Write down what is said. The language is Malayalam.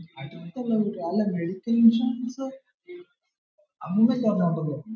അല്ല health ഇൻഷുറൻസ് അമ്മൂമ്മക്ക്‌ ഒരെണ്ണം ഉണ്ടെന്ന് തോന്നുന്ന